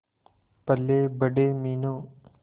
पलेबड़े Meenu